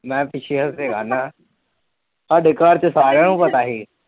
ਮੈ ਪਿਛੇ ਹੋਕੇ ਸਾਡੇ ਘਰ ਚ ਸਾਰਿਆ ਨੂੰ ਪਤਾ ਸੀ।